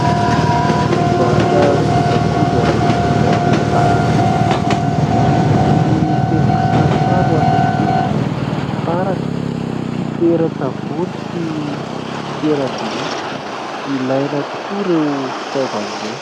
Mpivarotra kojakoja eny amoron-dalana, misy boky feno kisarisary ho an'ny ankizy, fitaratra, fitoeran-tsavony sy fitoeram-bilia ; ilaina tokoa ireo fitaovana ireo.